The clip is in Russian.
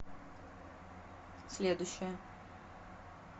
следующая